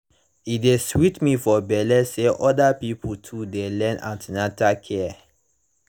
e dey sweet me for belle say other pipo too dey learn an ten atal care